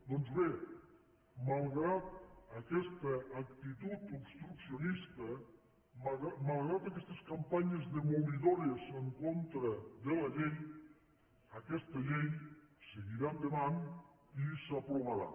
doncs bé malgrat aquesta actitud obstruccionista malgrat aquestes campanyes demolidores en contra de la llei aquesta llei seguirà endavant i s’aprovarà